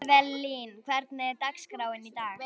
Evelyn, hvernig er dagskráin í dag?